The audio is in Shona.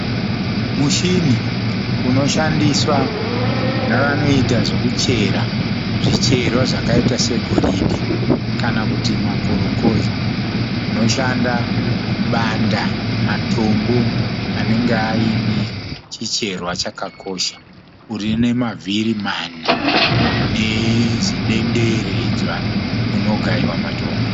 Mushini unoshandiswa navanoita zvekuchera zvicherwa zvakaita segoridhe kana kuti makorokoza. Unoshanda kubanda matombo anenge aine chicherwa chakakosha. Une mavhiri mana nezidenderedzwa munogaiwa matombo.